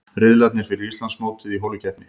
Riðlarnir fyrir Íslandsmótið í holukeppni